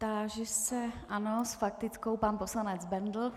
Táži se - ano, s faktickou pan poslanec Bendl.